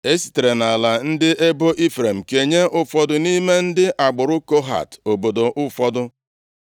E sitere nʼala ndị ebo Ifrem kenye ụfọdụ nʼime ndị agbụrụ Kohat obodo ụfọdụ.